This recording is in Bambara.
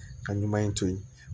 Ka ɲuman in to yen